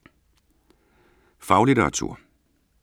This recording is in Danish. Faglitteratur